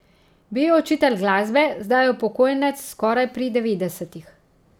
Bil je učitelj glasbe, zdaj je upokojenec, skoraj pri devetdesetih.